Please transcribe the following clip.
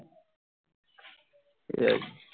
এই